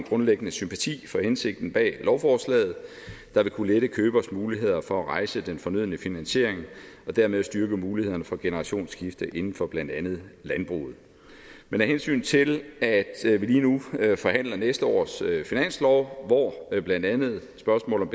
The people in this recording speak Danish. grundlæggende sympati for hensigten bag lovforslaget der vil kunne lette købers muligheder for at rejse den fornødne finansiering og dermed styrke mulighederne for generationsskifte inden for blandt andet landbruget men af hensyn til at vi lige nu forhandler næste års finanslov hvor blandt andet spørgsmålet